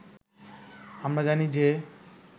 আমরা জানি যে